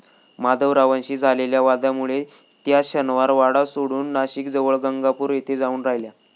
माधवरावांशी झालेल्या वादामुळे त्या शनिवारवाडा सोडून नाशिकजवळ गंगापूर येथे जाऊन राहिल्या.